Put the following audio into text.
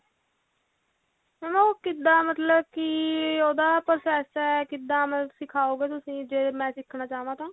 mam ਉਹ ਕਿੱਦਾਂ ਮਤਲਬ ਕੀ ਉਹਦਾ process ਹੈ ਕਿੱਦਾਂ ਮਤਲਬ ਸਿਖਾਓ ਗਏ ਤੁਸੀਂ ਜੇ ਮੈਂ ਸਿੱਖਣਾ ਚਾਹਵਾਂ ਤਾਂ